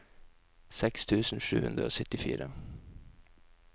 seks tusen sju hundre og syttifire